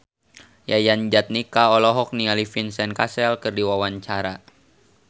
Yayan Jatnika olohok ningali Vincent Cassel keur diwawancara